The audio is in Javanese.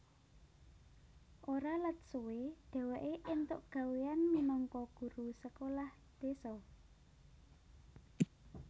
Ora let suwe dheweke entuk gawéyan minangka guru sekolah désa